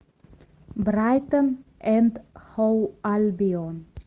брайтон энд хоув альбион